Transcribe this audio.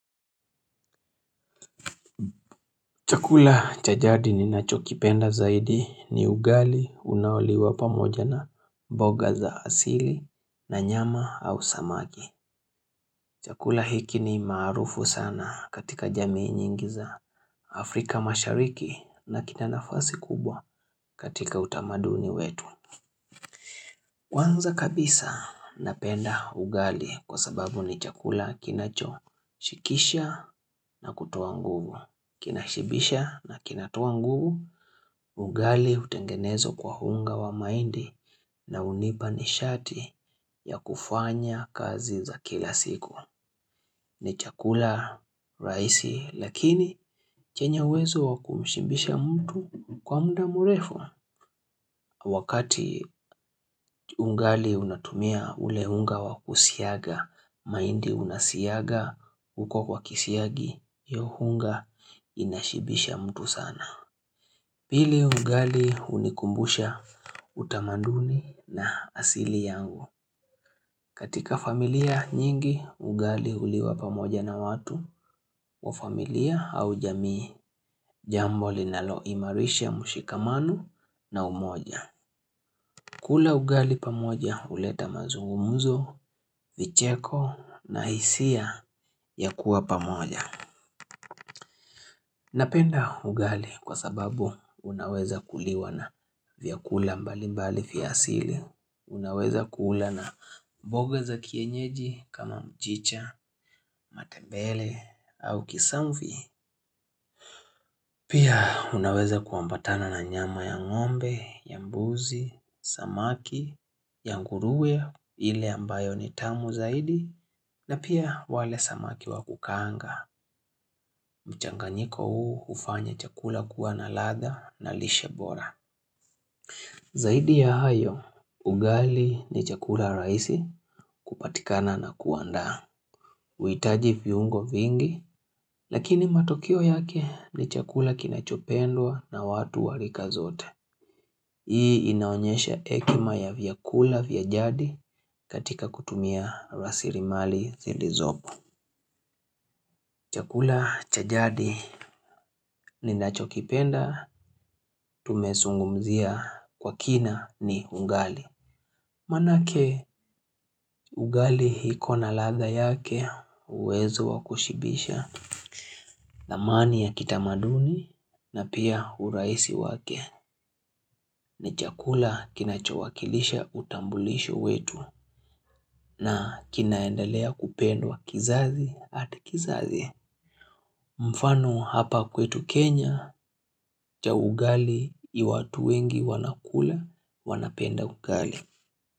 Chakula cha jadi ninachokipenda zaidi ni ugali unaoliwa pamoja na mboga za asili na nyama au samaki. Chakula hiki ni maarufu sana katika jamii nyingi za Afrika mashariki na kina nafasi kubwa katika utamaduni wetu. Kwanza kabisa napenda ugali kwa sababu ni chakula kinachoshikisha na kutoa nguvu. Kinashibisha na kinatoa nguvu. Ugali hutengenezwa kwa unga wa maindi na hunipa nishati ya kufanya kazi za kila siku. Ni chakula raisi lakini chenye uwezo wa kumshimbisha mtu kwa mda murefu. Wakati ungali unatumia ule hunga wa kusiaga, maindi unasiaga huko kwa kisiagi, hiyo hunga inashibisha mtu sana. Pili ugali hunikumbusha utamanduni na asili yangu. Katika familia nyingi ugali huliwa pamoja na watu wa familia au jamii jambo linaloimarisha mushikamano na umoja. Kula ugali pamoja huleta mazungumuzo, vicheko na hisia ya kuwa pamoja. Napenda ugali kwa sababu unaweza kuliwa na vyakula mbali mbali vya asili. Unaweza kula na mboga za kienyeji kama mchicha, matebele au kisamvi. Pia unaweza kuambatana na nyama ya ngombe, ya mbuzi, samaki, ya nguruwe, ile ambayo ni tamu zaidi, na pia wale samaki wa kukaanga. Mchanganyiko huu hufanya chakula kuwa na ladha na lishe bora. Zaidi ya hayo, ugali ni chakula raisi kupatikana na kuandaa. Uitaji viungo vingi Lakini matokeo yake ni chakula kinachopendwa na watu wa rika zote Hii inaonyesha ekima ya vyakula vya jadi katika kutumia rasirimali zilizopo Chakula chaj adi ninachokipenda Tumesungumzia kwa kina ni ungali Manake ugali hiko na ladha yake uwezo wa kushibisha thamani ya kitamaduni na pia uraisi wake ni chakula kinachowakilisha utambulisho wetu na kinaendelea kupendwa kizazi hadi kizazi. Mfano hapa kwetu Kenya cha ugali ni watu wengi wanakula wanapenda ugali.